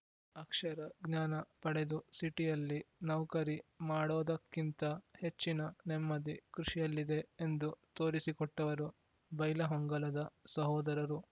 ಅಕ್ಷರ ಜ್ಞಾನ ಪಡೆದು ಸಿಟಿಯಲ್ಲಿ ನೌಕರಿ ಮಾಡೋದಕ್ಕಿಂತ ಹೆಚ್ಚಿನ ನೆಮ್ಮದಿ ಕೃಷಿಯಲ್ಲಿದೆ ಎಂದು ತೋರಿಸಿಕೊಟ್ಟವರು ಬೈಲಹೊಂಗಲದ ಸಹೋದರರು